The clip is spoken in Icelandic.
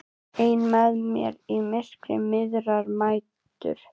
Ein með mér í myrkri miðrar nætur.